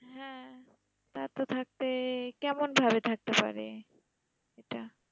হ্যাঁ তা তো থাকতে, কেমন ভাবে থাকতে পারে এটা?